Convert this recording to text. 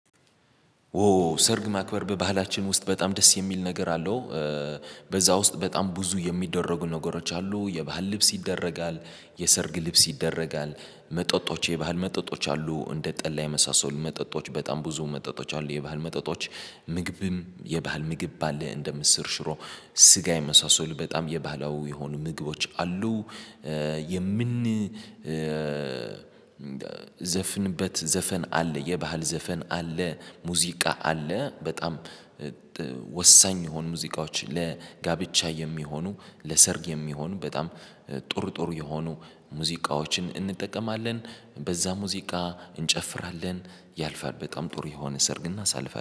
ኦ ሰርግ ማክበር በባህላችን ውስጥ በጣም ደስ የሚል ነገር አለው። በዛ ውስጥ በጣም ብዙ የሚደረጉ ነገሮች አሉ የባህል ልብስ ይደረጋል የሰርግ ልብስ ይደረጋል። መጠጦች የባህል መጠጦች አሉ እንደ ጠላ የመሳሰሉ መጠጦች በጣም ብዙ መጠጦች አሉ የባህል መጠጦች። ምግብም የባህል ምግብ አለ እንደ ምስር ሽሮ ስጋ የመሳሰሉ በጣም የባህላዊ የሆኑ ምግቦች አሉ። የምንዘፍንበት ዘፈን አለ የባህል ዘፈን አለ። ሙዚቃ አለ በጣም ወሳኝ የሆኑ ሙዚቃዎች ለጋብቻ የሚሆኑ ለሰርግ የሚሆኑ በጣም ጥሩ ጥሩ የሆኑ ሙዚቃዎችን እንጠቀማለን። በዛ ሙዚቃ እንጨፍራለን ያልፋል በጣም ጥሩ የሆነ ሰርግ እናሳልፋለን